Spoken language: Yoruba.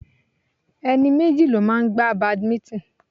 Ẹni méjì ló máa ń gbá badminton.